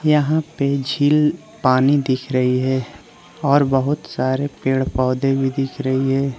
यहां पर झील पानी दिख रही है और बहुत सारे पेड़ पौधे भी दिख रही है।